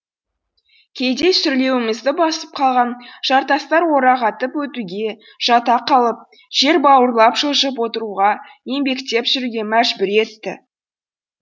кейде сүрлеуімізді басып қалған жартастар орағатып өтуге жата қалып жер бауырлап жылжып отыруға еңбектеп жүруге мәжбүр етті